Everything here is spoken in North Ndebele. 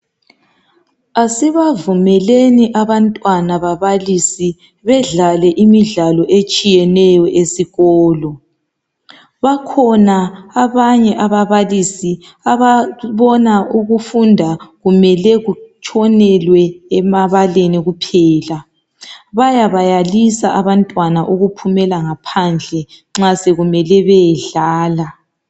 Asibavumeleni abantwana babalisi bedlale imidlalo etshiyeneyo esikolo. Bakhona abanye ababalisi ababona ukufunda kumele kutshonelwe emabaleni kuphela. Bayabayalisa abantwana ukuphumela ngaphandle nxa sekumele bayedlala.